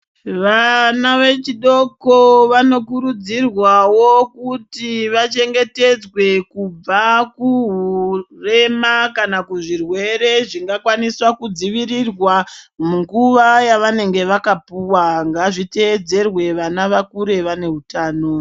Vana vechidoko vanokurudzirwawo kuti vachengetedzwe, kubva kuhurema kana kuzvirwere zvingakwanisa kudzivirirwa ,munguva yavanenge vakapuwa ,ngazviteyedzerwe vana vakure vaneutano.